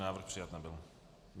Návrh přijat nebyl.